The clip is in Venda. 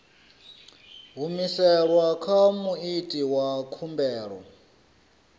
humiselwa kha muiti wa khumbelo